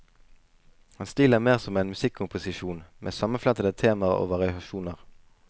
Hans stil er mer som en musikkomposisjon med sammenflettede temaer og variasjoner.